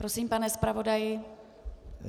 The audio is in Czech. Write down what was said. Prosím, pane zpravodaji.